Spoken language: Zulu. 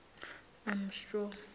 amstrong